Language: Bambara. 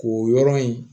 K'o yɔrɔ in